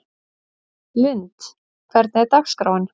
Lynd, hvernig er dagskráin?